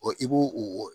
i b'o o